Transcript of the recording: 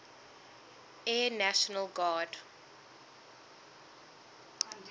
air national guard